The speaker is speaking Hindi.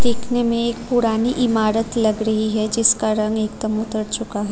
दिखने में एक पुरानी इमारत लग रही है जिसका रंग एकदम उतर चुका है।